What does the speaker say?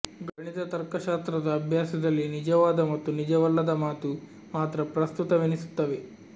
ಗಣಿತ ತರ್ಕಶಾಸ್ತ್ರದ ಅಭ್ಯಾಸದಲ್ಲಿ ನಿಜವಾದ ಮತ್ತು ನಿಜವಲ್ಲದ ಮಾತು ಮಾತ್ರ ಪ್ರಸ್ತುತವೆನಿಸುತ್ತವೆ